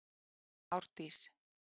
Árdís